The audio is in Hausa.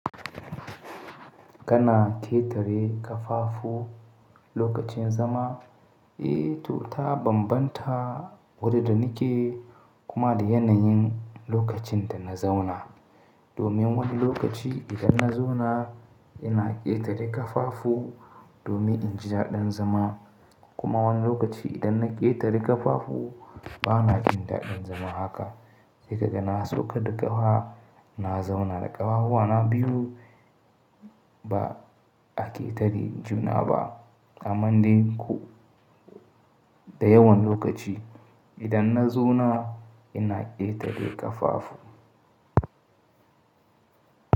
Kana ƙetare kafafu lokacin zama? Eh, to ta banbanta wuri da nake kuma da yanayin lokacin da na zauna. Domin wani lokaci idan na zauna ina ƙetare kafafu domin in ji daɗin zama kuma wani lokaci idan na ƙetare kafafu bana jin daɗin zama haka. Sai kaga na sauka da ƙafa na zauna da ƙafafuwana biyu ba a ƙetare juna ba. Amman dai da yawan lokaci idan na zauna ina ƙetare kafafu.